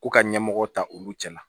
Ko ka ɲɛmɔgɔ ta olu cɛ la